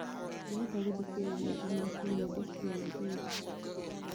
ndĩrenda gũthĩkĩrĩrĩaĩmwe cĩa nyĩmbo cĩaĩnjĩlĩ